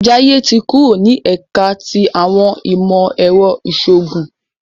Jaiye tí kúrò ni ẹka ti awọn imọ-ẹrọ iṣoogun